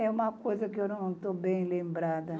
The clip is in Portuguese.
É uma coisa que eu não estou bem lembrada.